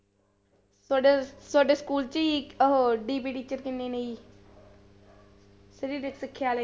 ਤੁਹਾਡੇ ਤੁਹਾਡੇ ਸਕੂਲ ਚ ਉਹ DPD ਚ ਕਿੰਨੇ ਨੇ ਜੀ ਸਰੀਰਕ ਸਿੱਖਿਆ ਵਾਲੇ।